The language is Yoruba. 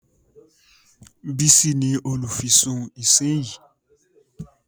Bísí ní olùfisùn ìsínyìí